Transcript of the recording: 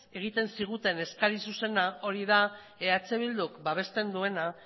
egiten ziguten eskari zuzena hori da eh bilduk babesten duena